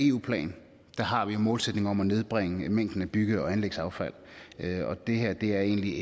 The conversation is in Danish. eu plan har vi en målsætning om at nedbringe mængden af bygge og anlægsaffald og det her er egentlig